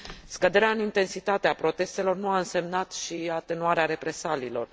Scăderea în intensitate a protestelor nu a însemnat și atenuarea represaliilor.